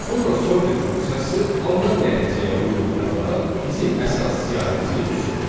Sonra sorted funksiyası alınan nəticəyə uyğun olaraq bizim əsas siyahımızı düzür.